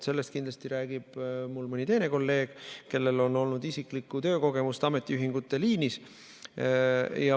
Sellest räägib kindlasti mõni teine kolleeg, kellel on olnud isiklikku töökogemust ametiühingute liinis.